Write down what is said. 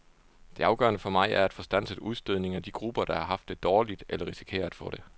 Det afgørende for mig er at få standset udstødningen af de grupper, der har haft det dårligt eller risikerer at få det.